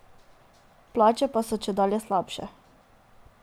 Plače pa so čedalje slabše.